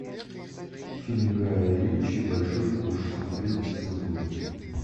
фильм гая ричи большой куш смотреть без цензуры